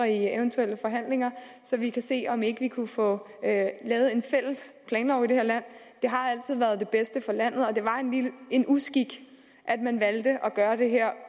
eventuelle forhandlinger så vi kan se på om ikke vi kunne få lavet en fælles planlov i det her land det har altid været det bedste for landet og det var en uskik at man valgte at gøre det her